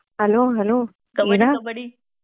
hello hello Ira